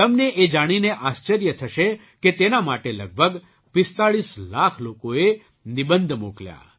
તમને એ જાણીને આશ્ચર્ય થશે કે તેના માટે લગભગ ૪૫ લાખ લોકોએ નિબંધ મોકલ્યા